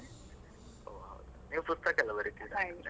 ಒಹ್ , ನೀವು ಪುಸ್ತಕ ಎಲ್ಲ .